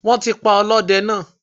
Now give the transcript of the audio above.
Wọ́n ti pa ọlọ́dẹ náà